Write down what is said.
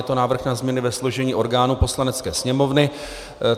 Je to návrh na změny ve složení orgánů Poslanecké sněmovny.